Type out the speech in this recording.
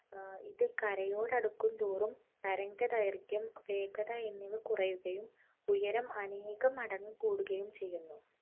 ആഹ് ഇത് കരയോടടുക്കുന്തോറും തരംഗദൈർഘ്യം, വേഗത എന്നിവ കുറയുകയും ഉയരം അനേകം മടങ്ങ് കൂടുകയും ചെയ്യുന്നു.